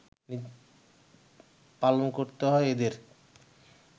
পালন করতে হয় এদের